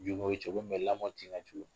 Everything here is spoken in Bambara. N'in ko cin ko min no lamɔ'cin ka jugu.